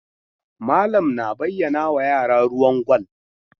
Malam na bayyanawa yara ruwan gwal.